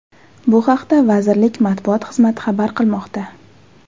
Bu haqda vazirlik matbuot xizmati xabar qilmoqda .